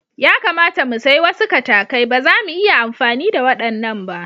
Ya kamata mu sayi wasu katakai, ba zamu iya amfani da waɗannan ba.